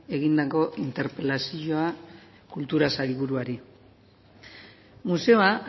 egindako interpelazioa kultura sailburuari museoa